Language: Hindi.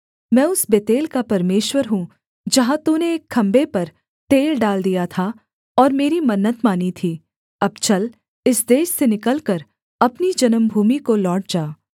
मैं उस बेतेल का परमेश्वर हूँ जहाँ तूने एक खम्भे पर तेल डाल दिया था और मेरी मन्नत मानी थी अब चल इस देश से निकलकर अपनी जन्मभूमि को लौट जा